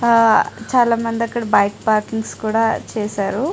ఆ చాలా మంది అక్కడ బైక్ పార్కింగ్స్ కూడా చేశారు.